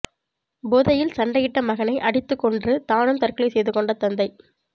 போதையில் சண்டையிட்ட மகனை அடித்து கொன்று தானும் தற்கொலை செய்துகொண்ட தந்தை